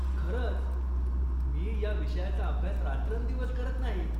खरंच, मी या विषयाचा अभ्यास रात्रंदिवस करत नाही.